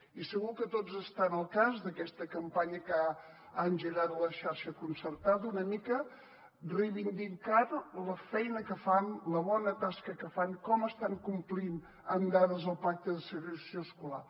i segur que tots estan al cas d’aquesta campanya que ha engegat la xarxa concertada una mica reivindicant la feina que fan la bona tasca que fan com estan complint amb dades el pacte de segregació escolar